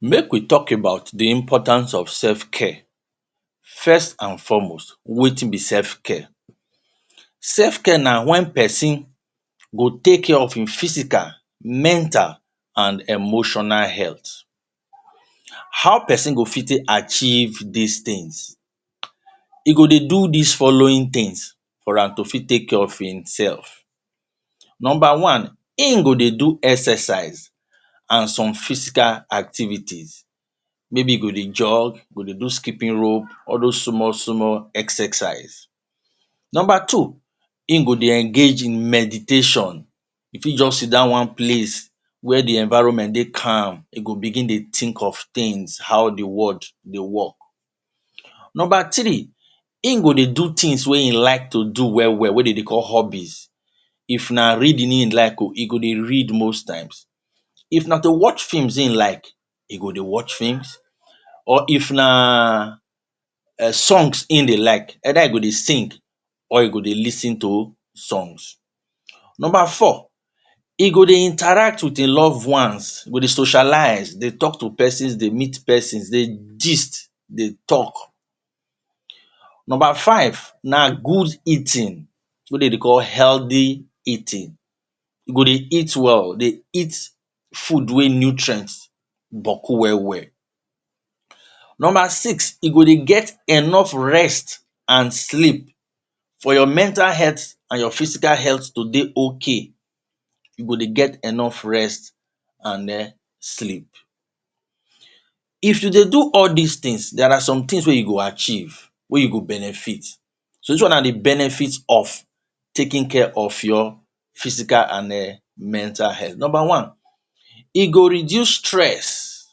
Make we talk about the importance of self care first and foremost wetin be selfcare, selfcare na wen person go take care of him physical, Mental and emotional health. How person go fit take achieve dis things e go dey do dis following things for am to fit take care of himself. number one Him go de do exercise and some physical activities maybe e go dey jog e go dey do skipping rope all those small small exercise. number two Him go dey engage in meditation e fit just sit down one place where the environment dey e calm go begin dey think of things how the world dey work. number three Him go dey do things wey e like to do well well wey dem dey call hobbies if na reading him like oh e go dey read most times if na to watch films him like e go dey watch films or if na songs him dey like either him go dey sing or him o dey lis ten to songs. number four him go dey interact with him loved ones go dey socialize dey talk to persons dey meet persons dey gist dey talk. Number five na good eating wetin dem dey call healthy eating e go dey eat well dey eat food wey nutrient bucku well well number six E go de get enough rest and sleep for your mental health and your physical health to dey okay you go dey get enough rest and sleep if you dey do all dis things there are some things wey you go achieve wey you go benefit. So this one na the benefit of taking care of your physical and mental health. number one E go reduce stress